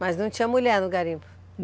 Mas não tinha mulher no garimpo?